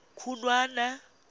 khunwana